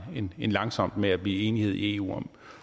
end langsomt med at blive enige i eu